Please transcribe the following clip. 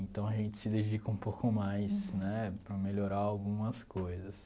Então, a gente se dedica um pouco mais né para melhorar algumas coisas.